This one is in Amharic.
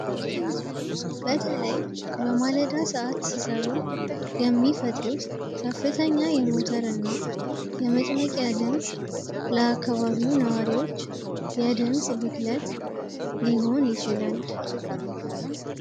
ብክለት በተለይ በማለዳ ሰዓት ሲሰሩ የሚፈጥሩት ከፍተኛ የሙተር እና የመጭመቂ ድምፅ ለአካባቢው ነዋሪዎች የድምፅ ብክለት ሊሆን ይችላል።